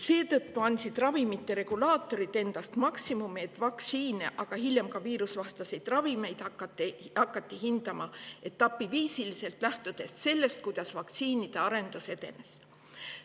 Seetõttu andsid ravimite regulaatorid endast maksimumi, et vaktsiine, aga hiljem ka viirusevastaseid ravimeid hakataks hindama etapiviisiliselt, lähtudes sellest, kuidas vaktsiinide arendus edeneb.